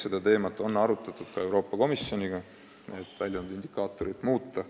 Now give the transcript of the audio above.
Seda teemat on arutatud ka Euroopa Komisjoniga, et väljundindikaatorit muuta.